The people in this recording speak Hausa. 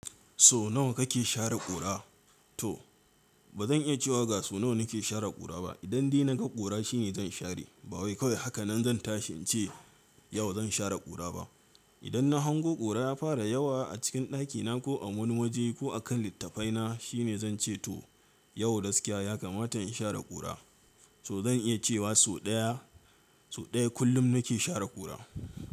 So nawa kake share ƙura? To ba zan iya cewa gasu nawa nake share ƙura ba. Idan dai na ga ƙura shine zan share. Ba wai kawai haka nan zan tashi ce, yau zan share ƙura ba. Idan na hango ƙura ya fara yawa a cikin ɗakina ko a wani waje ko a kan littafaina shine zan ce to yau gaskiya ya kamata in share ƙura. To zan iya cewa sau ɗaya, sau ɗaya kullum nake share ƙura.